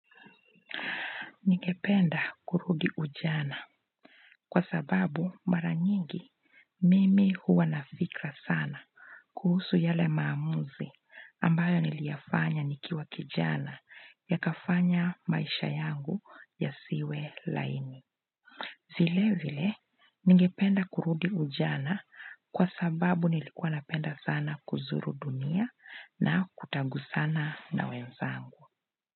Ningependa kurudi ujana kwa sababu mara nyingi Mimi huwa na fikra sana kuhusu yale maamuzi ambayo niliyafanya nikiwa kijana ya kafanya maisha yangu yasiwe laini. Vile vile, nigependa kurudi ujana kwa sababu nilikuwa napenda sana kuzuru dunia na kutaguzana na wenzangu.